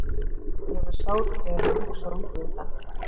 Ég verð sár þegar ég hugsa út í þetta.